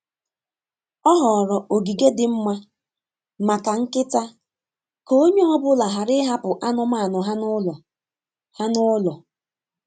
O họọrọ ogige dị mma maka nkịta ka onye ọ bụla ghara ịhapụ anụmanụ ha n'ụlo. ha n'ụlo.